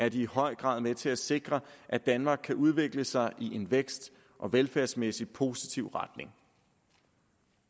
i høj grad med til at sikre at danmark kan udvikle sig i en vækst og velfærdsmæssig positiv retning